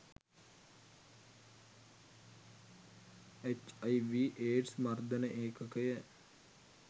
H I V AIDS මර්දන ඒකකය